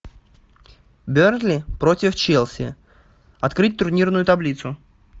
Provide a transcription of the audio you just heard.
бернли против челси открыть турнирную таблицу